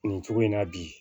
Nin cogo in na bi